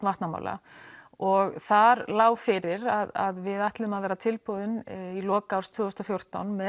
vatnamála og þar lá fyrir að við ætluðum að vera tilbúin í lok árs tvö þúsund og fjórtán með